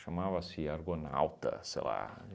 Argonauta, sei lá.